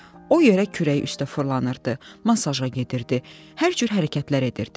O yerə kürək üstə fırlanırdı, masaja gedirdi, hər cür hərəkətlər edirdi.